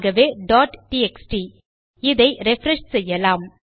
ஆகவே txt இதை refresh செய்யலாம்